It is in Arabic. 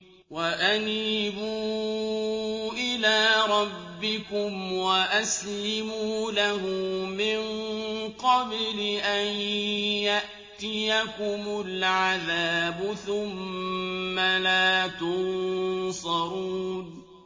وَأَنِيبُوا إِلَىٰ رَبِّكُمْ وَأَسْلِمُوا لَهُ مِن قَبْلِ أَن يَأْتِيَكُمُ الْعَذَابُ ثُمَّ لَا تُنصَرُونَ